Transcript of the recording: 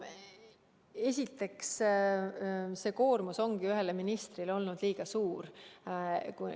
Esiteks, see koormus on ühele ministrile olnud liiga suur.